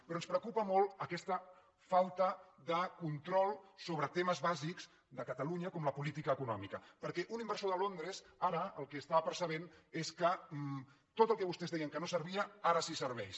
però ens preocupa molt aquesta falta de control sobre temes bàsics de catalunya com la política econòmica perquè un inversor de londres ara el que percep és que tot el que vostès deien que no servia ara sí que serveix